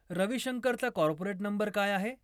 रविशंकरचा corporate number काय आहे